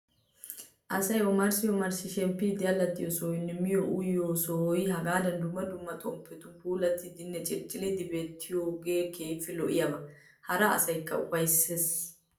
Asayi omarssi omarssi shemppiiddi allaxxiyoo sohoyinne miyiyoo uyiyoo sohoyi hagaada dumma dumma xomppetun puulattidinne cilccilidi beettiyoogee keehippe lo''iyaaba. Hara asaakka upayisses.